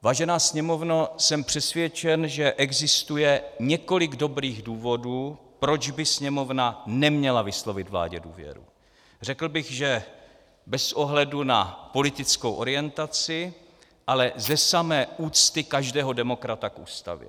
Vážená Sněmovno, jsem přesvědčen, že existuje několik dobrých důvodů, proč by Sněmovna neměla vyslovit vládě důvěru, řekl bych, že bez ohledu na politickou orientaci, ale ze samé úcty každého demokrata k Ústavě.